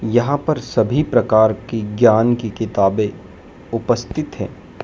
यहां पर सभी प्रकार की ज्ञान की किताबें उपस्थित हैं।